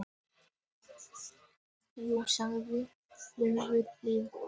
Jú, sagði Ólafur Hjaltason.